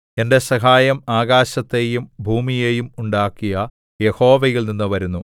എന്റെ സഹായം ആകാശത്തെയും ഭൂമിയെയും ഉണ്ടാക്കിയ യഹോവയിൽനിന്നു വരുന്നു